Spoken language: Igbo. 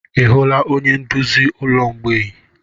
Ị hụla onye nduzi ụlọ mgbei?